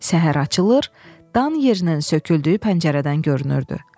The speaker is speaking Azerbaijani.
Səhər açılır, dan yerinin söküldüyü pəncərədən görünürdü.